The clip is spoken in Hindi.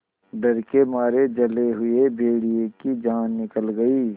डर के मारे जले हुए भेड़िए की जान निकल गई